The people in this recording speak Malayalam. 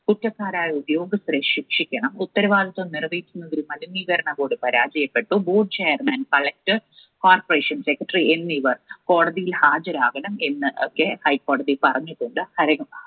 കുറ്റക്കാരായ ഉദ്യോഗസ്ഥരെ ശിക്ഷിക്കണം. ഉത്തരവാദിത്വം നിറവേറ്റുന്നതിൽ മലിനീകരണ board പരാജയപ്പെട്ടു. board chairman, Collector, Corporation Secretary എന്നിവർ കോടതിയിൽ ഹാജരാകണം എന്നൊക്കെ ഹൈക്കോടതി പറഞ്ഞിട്ടുണ്ട്.